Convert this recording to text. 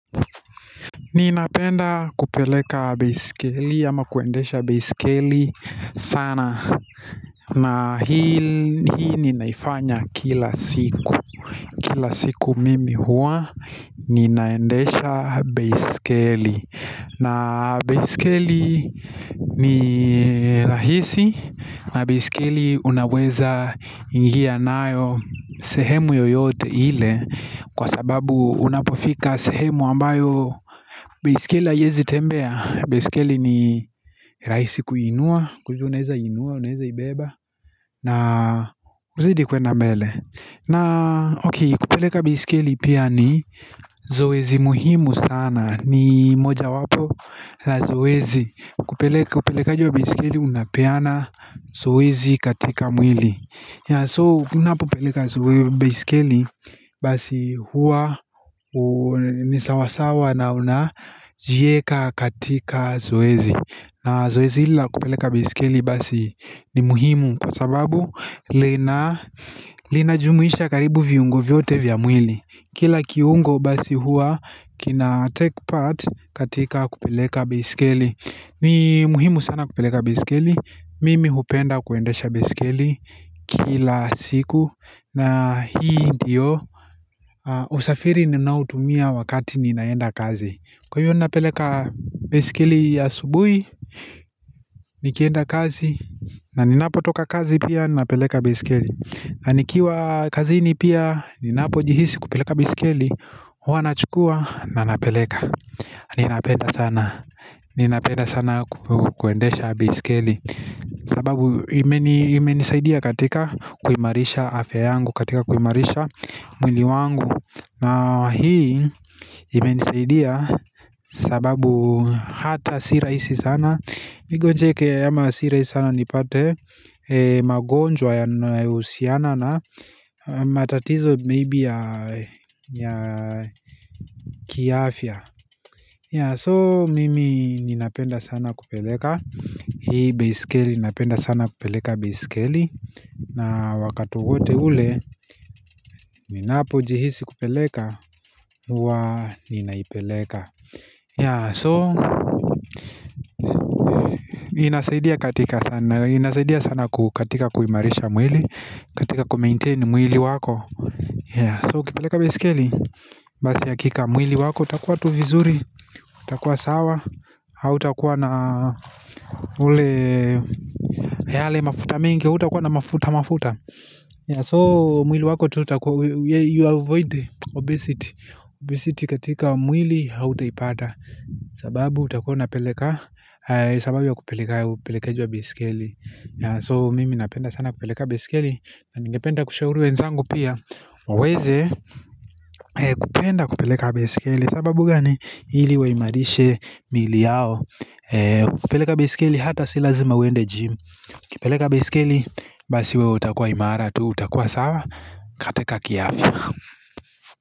Ninapenda kupeleka baisikeli ama kuendesha baisikeli sana na hii ninaifanya kila siku Kila siku mimi huwa ninaendesha baisikeli na baisikeli ni rahisi na baisikeli unaweza ingia nayo sehemu yoyote ile Kwa sababu unapofika sehemu ambayo baisikeli haiwezi tembea baisikeli ni rahisi kuinua, kwa hivyo unaweza inua, unaweza ibeba na kuzidi kuenda mbele na ok, kupeleka baisikeli pia ni zoezi muhimu sana ni moja wapo la zoezi kupeleka upelekaji wa baisikeli unapeana zoezi katika mwili So unapopeleka baisikeli basi huwa ni sawasawa na unajiweka katika zoezi na zoezi hili la kupeleka baisikili basi ni muhimu kwa sababu lina linajumuisha karibu viungo vyote vya mwili Kila kiungo basi huwa kina take part katika kupeleka baisikeli ni muhimu sana kupeleka baisikeli Mimi hupenda kuendesha baisikeli kila siku na hii ndiyo usafiri ninautumia wakati ninaenda kazi Kwa hiyo ninapeleka baisikeli asubuhi Nikienda kazi na ninapo toka kazi pia ninapeleka baisikeli na nikiwa kazini pia Ninapo jihisi kupeleka baisikili huwa nachukua na ninapeleka Ninapenda sana Ninapenda sana kuendesha baisikeli sababu imenisaidia katika kuimarisha afya yangu katika kuimarisha mwili wangu na hii imenisaidia sababu hata si rahisi sana Nigonjeke ama si rahisi sana nipate magonjwa yanayo husiana na matatizo maybe ya kiafya ya so mimi ninapenda sana kupeleka Hii baisikeli ninapenda sana kupeleka baisikeli na wakati wote ule ninapo jihisi kupeleka huwa ninaipeleka ya so inasaidia katika sana inasaidia sana kukatika kuimarisha mwili katika ku maintain mwili wako ya so kupeleka baisikeli Basi hakika mwili wako utakuwa tu vizuri utakuwa sawa Hautakuwa na ule yale mafuta mingi hutakuwa na mafuta mafuta ya so mwili wako tu utakuwa ya you avoid the obesity Obesity katika mwili hautaipata sababu utakuwa unapeleka sababu ya kupeleka upelekeji wa baisikeli ya so mimi napenda sana kupeleka baisikeli na ningependa kushauri wenzangu pia waweze kupenda kupeleka baisikeli sababu gani ili waimarishe miili yao kupeleka baisikeli hata si lazima uende jimu kupeleka baisikeli basi wewe utakua imara tu utakua sawa katika kiafya.